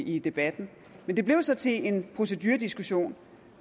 i debatten men det blev så til en procedurediskussion